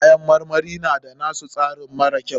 Ƴaƴan marmari na da na su tasirin mara kyau.